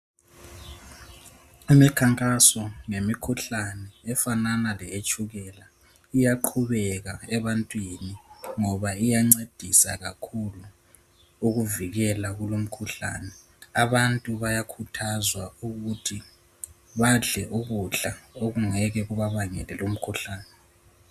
Imikhankaso ngemikhuhlane efanana leyetshukela iyaqhubeka ebantwini ngoba iyancedisa kakhulu ukuvikela kulumkhuhlane. Abantu bayakhuthazwa ukuthi badle ukudla okungeke kubabangele lumkhuhlane.